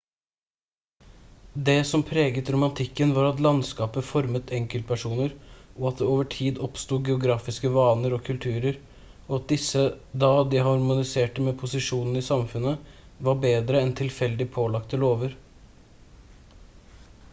det som preget romantikken var at landskapet formet enkeltpersoner og at det over tid oppstod geografiske vaner og kulturer og at disse da de harmonerte med posisjonen i samfunnet var bedre enn tilfeldig pålagte lover